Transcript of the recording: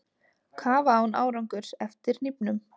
Kafa án árangurs eftir hnífnum